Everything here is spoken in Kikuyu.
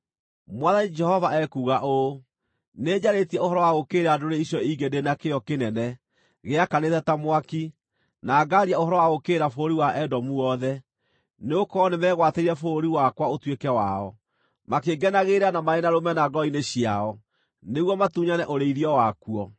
Mwathani Jehova ekuuga ũũ: Nĩnjarĩtie ũhoro wa gũũkĩrĩra ndũrĩrĩ icio ingĩ ndĩ na kĩyo kĩnene gĩakanĩte ta mwaki, na ngaaria ũhoro wa gũũkĩrĩra bũrũri wa Edomu wothe, nĩgũkorwo nĩmegwatĩire bũrũri wakwa ũtuĩke wao, makĩngenagĩrĩra na marĩ na rũmena ngoro-inĩ ciao, nĩguo matunyane ũrĩithio wakuo.’